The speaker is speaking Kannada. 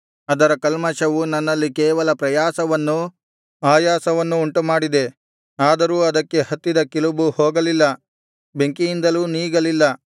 ಅದರ ಕಲ್ಮಷವು ನನ್ನಲ್ಲಿ ಕೇವಲ ಪ್ರಯಾಸವನ್ನೂ ಆಯಾಸವನ್ನೂ ಉಂಟುಮಾಡಿದೆ ಆದರೂ ಅದಕ್ಕೆ ಹತ್ತಿದ ಕಿಲುಬು ಹೋಗಲಿಲ್ಲ ಬೆಂಕಿಯಿಂದಲೂ ನೀಗಲಿಲ್ಲ